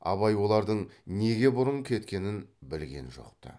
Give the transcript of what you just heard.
абай олардың неге бұрын кеткенін білген жоқ ты